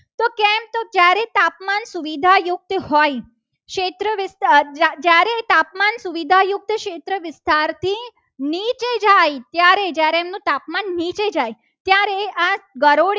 સુવિધા યુક્ત હોય ક્ષેત્ર વિસ્તાર જ્યારે તાપમાન સુવિધા યુક્ત ક્ષેત્ર વિસ્તારથી નીચે જાય ત્યારે જ્યારે એનું તાપમાન નીચે જાય ત્યારે આ